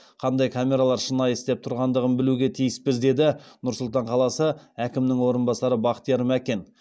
қандай камералар шынайы істеп тұрғандығын білуге тиіспіз деді нұр сұлтан қаласы әкімінің орынбасары бақтияр мәкен